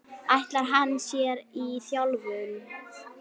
Ætlar hann sér í þjálfun?